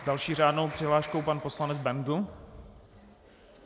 S další řádnou přihláškou pan poslanec Bendl.